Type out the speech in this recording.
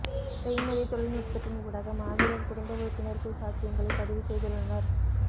செய்மதி தொழில்நுட்பத்தின் ஊடாக மாவீரர் குடும்ப உறுப்பினர்கள் சாட்சியங்களை பதிவு செய்துள்ளனர்